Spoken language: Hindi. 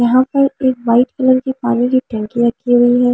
यहां पर एक वाइट कलर की पानी की टंकी रखी हुई है।